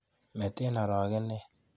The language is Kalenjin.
Mete aragenet.